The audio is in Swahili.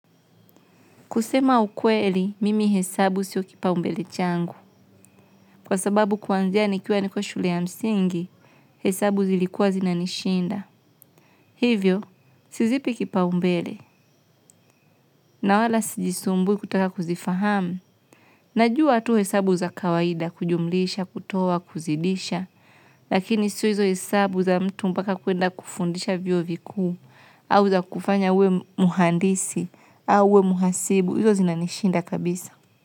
Kusema ukweli, mimi hesabu sio kipaumbele changu, kwa sababu kuanzia nikiwa niko shule ya msingi, hesabu zilikuwa zinanishinda. Hivyo, sizipi kipaumbele, na wala sijisumbui kutaka kuzifahamu. Najua tu hesabu za kawaida, kujumlisha, kutoa, kuzidisha, lakini sio hizo hesabu za mtu mpaka kuenda kufundisha vyuo vikuu, au za kufanya uwe mhandisi, au uwe mhasibu, hizo zinanishinda kabisa.